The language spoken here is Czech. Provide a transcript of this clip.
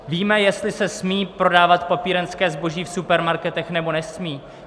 Víme, jestli se smí prodávat papírenské zboží v supermarketech, nebo nesmí?